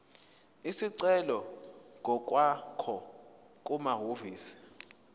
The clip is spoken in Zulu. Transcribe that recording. isicelo ngokwakho kumahhovisi